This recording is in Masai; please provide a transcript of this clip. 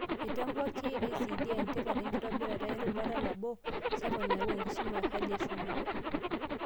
Eitambua KICD entipat enkitobirata erubata nabo sapuk nayau enkisuma ehali eshumata.